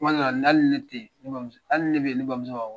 Tuma dɔw hali ni ne tɛ yen hali ni ne bɛ yen ne bamuso b'a fɔ ko